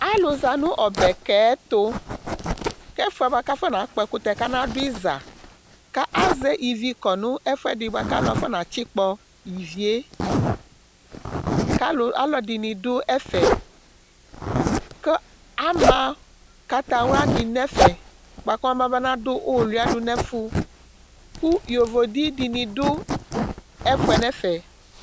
alò za no ɔbɛ ka yɛ to k'ɛfu yɛ boa k'afɔna kpɔ ɛkutɛ k'ana do iza k'azɛ ivi kɔ n'ɛfu ɛdi k'alò afɔna tsikpɔ ivi yɛ k'alò alò ɛdini do ɛfɛ kò ama kataya di n'ɛfɛ boa kɔma ba na do uluia do n'ɛfu kò yovo di di ni do ɛfu yɛ n'ɛfɛ